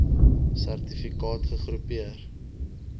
serti kaat gegroepeer